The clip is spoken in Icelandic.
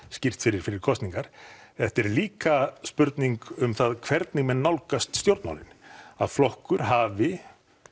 skýrt fyrir fyrir kosningar þetta er líka spurning um það hvernig menn nálgast stjórnmálin að flokkur hafi